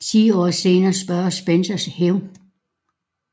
Ti år senere søger Spencer hævn